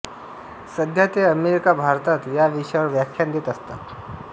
सध्या ते अमेरिका भारतात या विषयावर व्याख्यान देत असतात